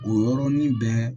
O yɔrɔnin bɛɛ